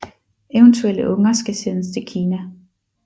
Eventuelle unger skal sendes til Kina